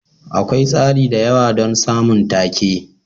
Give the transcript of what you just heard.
Akwai tsari da yawa don samun take.